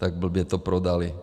Tak blbě to prodali.